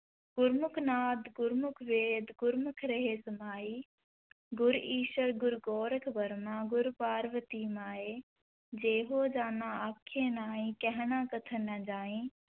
ਗੁਰਮੁਖਿ ਨਾਦ ਗੁਰਮੁਖਿ ਵੇਦ ਗੁਰਮੁਖਿ ਰਹੇ ਸਮਾਈ, ਗੁਰੁ ਈਸਰੁ ਗੁਰੁ ਗੋਰਖੁ ਬਰਮਾ ਗੁਰੁ ਪਾਰਬਤੀ ਮਾਈ, ਜੇ ਹਉ ਜਾਣਾ ਆਖਾ ਨਾਹੀ ਕਹਣਾ ਕਥਨੁ ਨ ਜਾਈ,